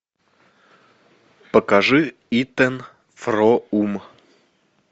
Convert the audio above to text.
покажи итэн фроум